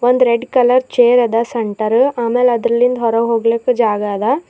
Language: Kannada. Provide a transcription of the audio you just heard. ಒಂದ್ ರೆಡ್ ಕಲರ್ ಚೇರ್ ಅದ ಸೆಂಟರ್ ಆಮೇಲ್ ಅದ್ರಲಿಂದ್ ಹೊರಗ್ ಹೋಗ್ಲಿಕ್ ಜಾಗ ಅದ.